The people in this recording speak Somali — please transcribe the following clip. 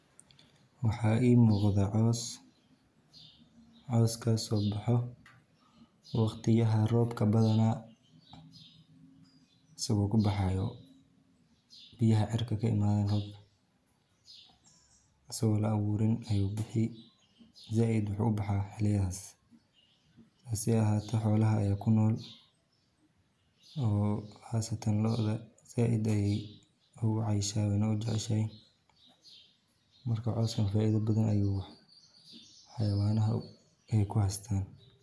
Waxa ii muuqda cows, cowskas oo boxo waqtiyada robka asago Cawska wuxuu leeyahay faa’iidooyin badan oo muhiim u ah deegaanka, xoolaha, iyo xitaa dadka. Marka hore, cawska waa cunto asaasi ah oo xoolaha